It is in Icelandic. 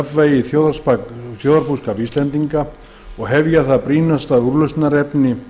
að ná jafnvægi í þjóðarbúskap íslendinga og hefja það brýna úrlausnarefni